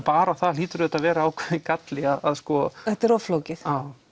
bara það hlýtur auðvitað að vera ákveðinn galli að sko þetta er of flókið